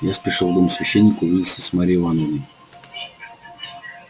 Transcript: я спешил в дом священника увидеться с марьей ивановной